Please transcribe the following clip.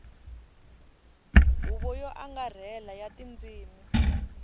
huvo yo angarhela ya tindzimi